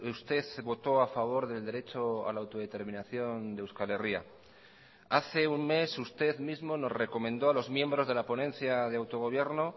usted votó a favor del derecho a la autodeterminación de euskal herria hace un mes usted mismo nos recomendó a los miembros de la ponencia de autogobierno